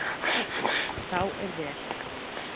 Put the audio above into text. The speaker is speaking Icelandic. Þá er vel.